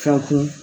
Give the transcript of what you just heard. Ka kun